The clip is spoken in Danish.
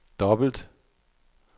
dobbelt